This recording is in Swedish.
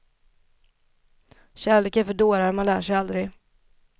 Kärlek är för dårar, man lär sig aldrig.